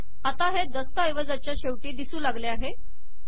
आता हे दस्तऐवजाच्या शेवटी दिसू लागले